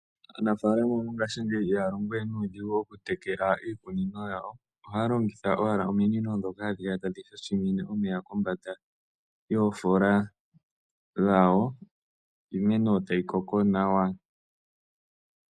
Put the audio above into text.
Anafalama mongashingeyi ihaya longo we nuudhigu moku tekela iimeno yawo. Ohaya longitha owala ominino dhoka hadhi shashimine omeya kombanda yofoola dhawo, yo iimeno tayi koko nawa.